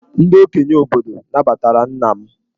Ndị okenye obodo nabatara nna m.